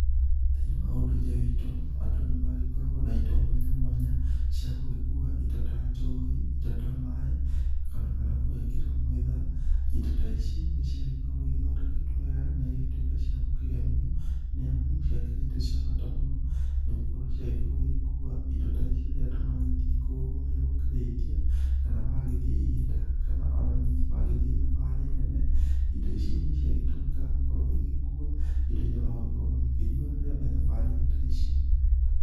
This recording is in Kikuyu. Thĩ-inĩ wa ũndũire witũ, andũ nĩ magĩkoragwo na indo mwanya mwanya, cia gũgĩkua indo ta njohi, indo ta maĩ kana gũgĩkĩra mwĩtha. ĩndo ta ici nĩ ciagĩkoragwo igĩthondeketwo wega na igagĩtuĩka cia gũkĩgemio, nĩ amu ciakĩrĩ irĩ indo cia bata mũno, nĩ gũkorwo ciagĩkoragwo igĩkua indo ta ici rĩrĩa andũ magĩthiĩ kũrĩa gũkĩrĩithia, kana magĩthiĩ ihĩta kana o na ningĩ magĩthiĩ thabarĩ nene. Indo ici nĩ ciagĩtũmikaga gũkorwo igĩkua indo iria magũgĩkorwo magĩkĩnyua rĩrĩa me thabarĩ-inĩ ta ici.